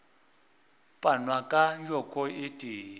panwa ka joko e tee